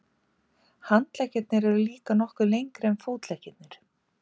Handleggirnir eru líka nokkuð lengri en fótleggirnir.